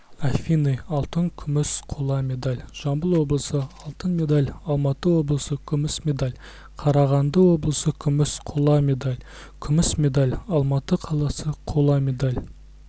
афины алтын күміс қола медаль жамбыл облысы алтын медаль алматы облысы күміс медаль қарағанды облысы күміс қола медаль күміс медаль алматы қаласы қола медаль